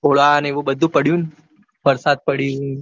ગોળા ને એવું બધું પડ્યું વરસાદ પડ્યો ને